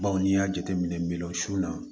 Baw n'i y'a jateminɛ miliyɔn su la